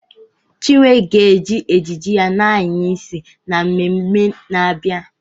Chinwe ga-eji ejiji ya na-anya isi n'ememme na-abịa.